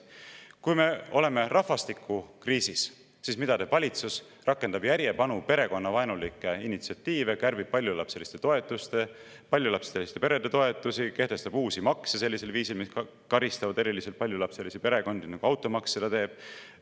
Kui me oleme rahvastikukriisis, siis mida teeb valitsus: rakendab järjepanu perekonnavaenulikke initsiatiive, kärbib paljulapseliste perede toetusi, kehtestab uusi makse sellisel viisil, mis eriliselt karistab paljulapselisi perekondi, nagu automaks seda teeb.